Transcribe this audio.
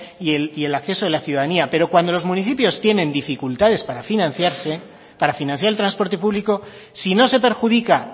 y el acceso de la ciudadanía pero cuando los municipios tienen dificultades para financiarse para financiar el transporte público sino se perjudica